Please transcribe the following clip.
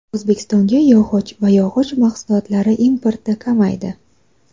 O‘zbekistonga yog‘och va yog‘och mahsulotlari importi kamaydi.